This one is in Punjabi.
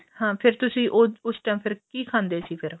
ਹਾ ਫ਼ੇਰ ਤੁਸੀਂ ਉਸ ਟਾਇਮ ਫ਼ਿਰ ਕੀ ਖਾਂਦੇ ਸੀ ਫ਼ੇਰ